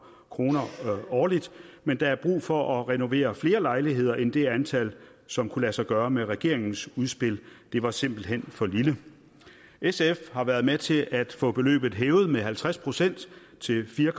kroner årligt men der er brug for at renovere flere lejligheder end det antal som kunne lade sig gøre med regeringens udspil det var simpelt hen for lille sf har været med til at få beløbet hævet med halvtreds procent til fire